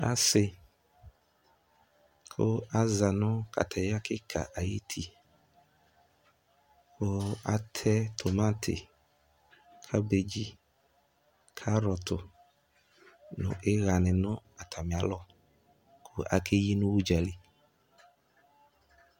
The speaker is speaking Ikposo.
Asi kʋ aza nʋ kataya kika ayuti kʋ atɛ tomati, kabedzi, karɔtʋ nʋ iɣa ni nʋ atami alɔ kʋ akeyi nʋ ʋdzali